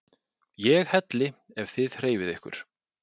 ÉG HELLI EF ÞIÐ HREYFIÐ YKKUR!